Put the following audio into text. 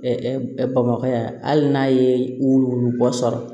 bamakɔ yan hali n'a ye wuluwulu bɔ sɔrɔ